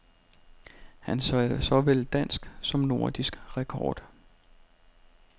Han satte såvel dansk som nordisk rekord.